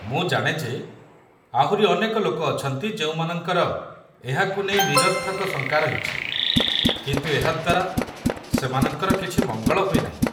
ମୁଁ ଜାଣେ ଯେ ଆହୁରି ଅନେକ ଲୋକ ଅଛନ୍ତି ଯେଉଁମାନଙ୍କର ଏହାକୁ ନେଇ ନିରର୍ଥକ ଶଙ୍କା ରହିଛି, କିନ୍ତୁ ଏହାଦ୍ୱାରା ସେମାନଙ୍କର କିଛି ମଙ୍ଗଳ ହୁଏ ନାହିଁ।